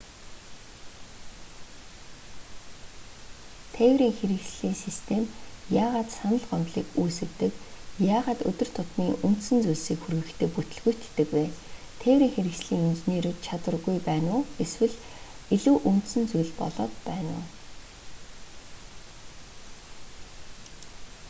тээврийн хэрэгслийн систем яагаад санал гомдлыг үүс гэдэг яагаад өдөр тутмын үндсэн зүйлсийг хүргэхдээ бүтэлгүйтдэг вэ тээврийн хэрэгслийн инженерүүд чадваргүй байна уу эсвэл илүү үндсэн зүйл болоод байна уу